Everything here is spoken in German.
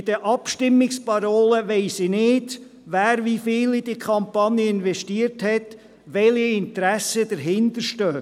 Bei den Abstimmungsparolen weiss ich hingegen nicht, wer wie viel in die Kampagne investiert hat, welche Interessen dahinterstecken.